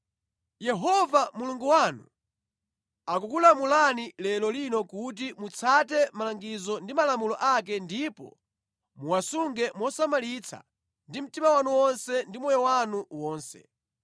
Yehova Mulungu wanu akukulamulani lero lino kuti mutsate malangizo ndi malamulo ake ndipo muwasunge mosamalitsa ndi mtima wanu wonse ndi moyo wanu wonse.